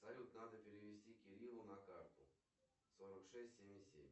салют надо перевести кириллу на карту сорок шесть семьдесят семь